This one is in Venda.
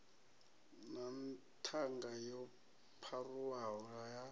na ṱhanga yo pharuwaho ha